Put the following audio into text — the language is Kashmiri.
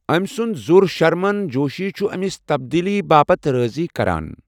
أمۍ سُنٛد زُر شرمن جوشی چھُ أمِس تبدیٖلی باپتھ رٲضی کران۔